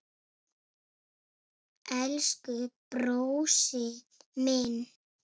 Elsku brósi minn.